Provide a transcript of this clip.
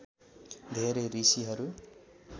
धेरै ऋषिहरू